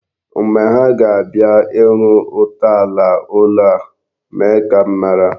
Mgbe ha ga-abịa ịrụ ntọala ụlọ a, mee ka m mara.